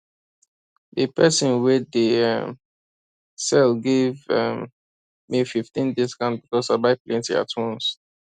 d person wey dey um sell give um me fifteen discount because i buy plenty at once